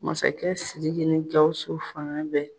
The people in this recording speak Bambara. Masakɛ Siriki ni Gawusu fanga bɛɛ